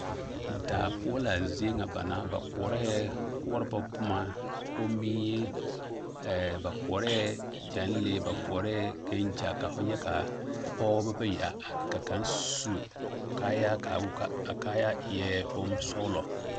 Daa poɔ la a zie ŋa ba koɔrɛɛ kɔrebɔ boma komie ɛɛɛ ba koɔrɛɛ ɡyanlee ba koɔrɛɛ ɡyɛnɡya ka fo nyɛ ka pɔɡebɔ bayi a are ka kaŋ su kaayaa ka wuli ka a kaayaa eɛ bonsɔɡelɔ.